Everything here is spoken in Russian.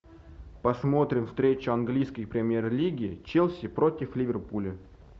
посмотрим встречу английской премьер лиги челси против ливерпуля